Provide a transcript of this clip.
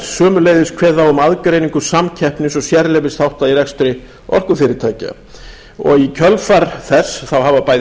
sömuleiðis kveðið á um aðgreiningu samkeppnis og sérleyfisþátta í rekstri orkufyrirtækja og í kjölfar þess hafa bæði